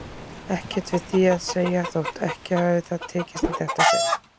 Ekkert við því að segja þótt ekki hafi það tekist í þetta sinn.